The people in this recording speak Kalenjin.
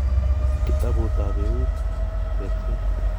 http://ghr.nlm.nih.gov/kitabutabeut/tebseet.